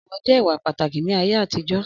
Ọ̀wọ̀ jẹ́ ìwà pàtàkì ní ayé àtijọ́.